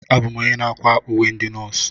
Abụ m onye na-akwa uwe ndị nọọsụ.